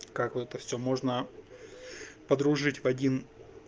как вот это всё можно подружить в один